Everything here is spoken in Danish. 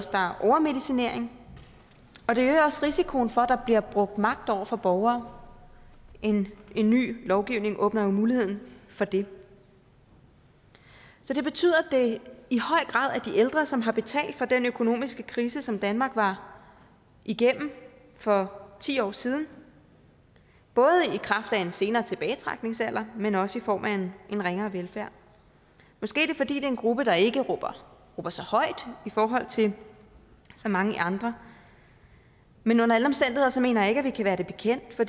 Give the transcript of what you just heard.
der er overmedicinering og det øger også risikoen for at der bliver brugt magt over for borgere en ny lovgivning åbner jo mulighed for det så det betyder at det i høj grad er de ældre som har betalt for den økonomiske krise som danmark var igennem for ti år siden både i kraft af en senere tilbagetrækningsalder men også i form af en ringere velfærd måske er det fordi det er en gruppe der ikke råber så højt i forhold til så mange andre men under alle omstændigheder mener jeg ikke at vi kan være det bekendt for